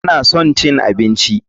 Tana son cin abinci.